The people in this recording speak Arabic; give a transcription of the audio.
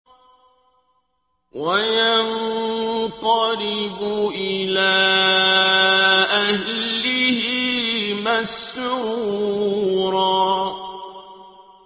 وَيَنقَلِبُ إِلَىٰ أَهْلِهِ مَسْرُورًا